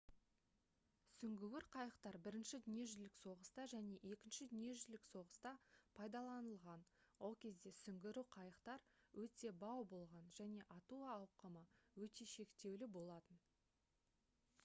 сүңгуір қайықтар бірінші дүниежүзілік соғыста және екінші дүниежүзілік соғыста пайдаланылған ол кезде сүңгуір қайықтар өте бау болған және ату ауқымы өте шектеулі болатын